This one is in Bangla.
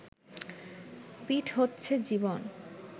পিঠ হচ্ছে জীবন